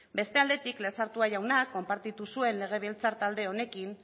beste aldetik lezertua jaunak konpartitu zuen legebiltzar talde honekin